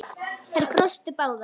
Þær brostu báðar.